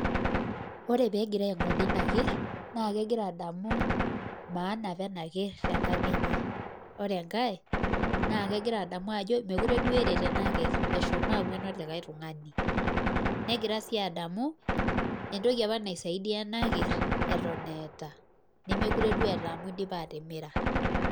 koree pee egira aingodee inkerr naa kegiraa adamu maisha enaker tenkang enye, naa kegira adamu ajoo mekuure duo eret enaker koree enkae kegira adamu entoki apa naisaidia enaker eton eata koreee nkae nemekuree duo eyata amu idipa atimira